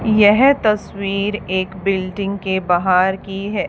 यह तस्वीर एक बिल्डिंग के बाहर की है।